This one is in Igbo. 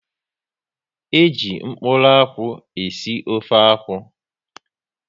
E ji mkpụrụ akwụ e si ofe akwụ